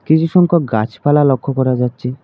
কিছু সংখ্যক গাছপালা লক্ষ্য করা যাচ্ছে।